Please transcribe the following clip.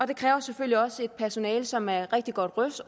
det kræver selvfølgelig også et personale som er rigtig godt